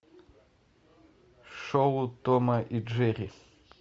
шоу тома и джерри